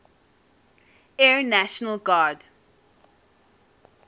air national guard